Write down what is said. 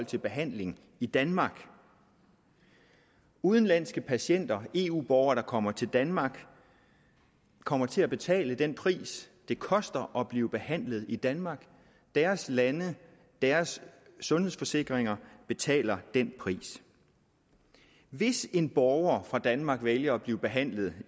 til behandling i danmark udenlandske patienter eu borgere der kommer til danmark kommer til at betale den pris det koster at blive behandlet i danmark deres lande deres sundhedsforsikringer betaler den pris hvis en borger fra danmark vælger at blive behandlet